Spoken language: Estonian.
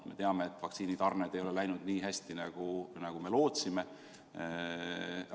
Me teame, et vaktsiinitarned ei ole läinud nii hästi, nagu me lootsime.